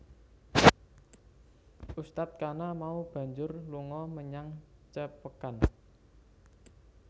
Ustadz kana mau banjur lunga menyang Cepekan